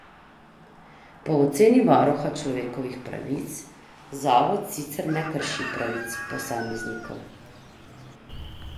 Po oceni varuha človekovih pravic zavod sicer ne krši pravic posameznikov.